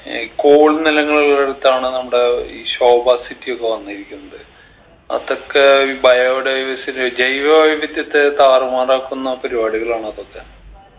ഈ coal നിലങ്ങളുള്ളിടത്താണ് നമ്മുടെ ഈ ശോഭ city യൊക്കെ വന്നിരിക്കുന്നത് അതൊക്കെ ഈ biodiversity ജൈവ വൈവിധ്യത്തെ താറുമാറാക്കുന്ന പരിപാടികളാണ് അതൊക്കെ